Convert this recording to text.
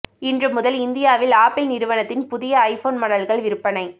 இன்று முதல் இந்தியாவில் ஆப்பிள் நிறுவனத்தின் புதிய ஐபோன் மாடல்கள் விற்பனை